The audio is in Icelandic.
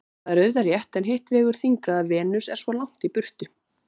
Það er auðvitað rétt en hitt vegur þyngra að Venus er svo langt í burtu.